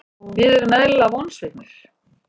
Við erum eðlilega vonsviknir.